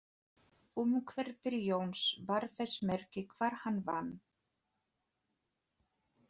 Umhverfi Jóns bar þess merki hvar hann vann.